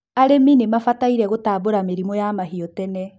arĩmi nimabataire gũtambũra mĩrĩmũ ya mahiũ tene